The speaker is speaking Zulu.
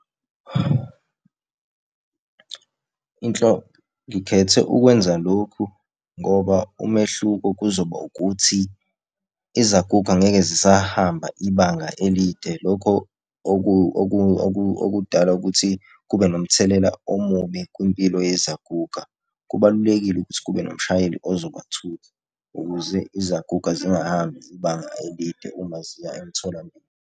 Ngikhethe ukwenza lokhu ngoba umehluko kuzoba ukuthi izaguga angeke zisahamba ibanga elide. Lokho okudala ukuthi kube nomthelela omubi kwimpilo yezaguga. Kubalulekile ukuthi kube nomshayeli ozobathutha ukuze izaguga zingahambi ibanga elide uma ziya emtholampilo.